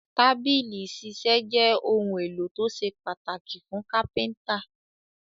Tábìlì ìṣiṣẹ́ jẹ́ ohun-èlò tó ṣe pàtàkì fún Kápẹ́ńtà.